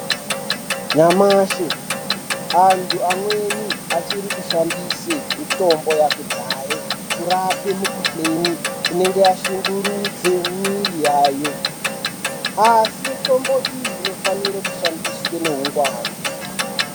Nyamashi antu amweni achiri kushandise mitombo yakudhaye kurape mikuhlani. Inenge yashungurudze mumwiri yayo asi mitombo iyi, inofanire kushandiswa ngeungwaru.